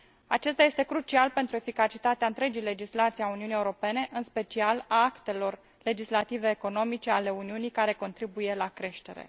Acesta este crucial pentru eficacitatea întregii legislații a Uniunii Europene, în special a actelor legislative economice ale Uniunii, care contribuie la creștere.